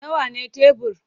Nawa ne tebur?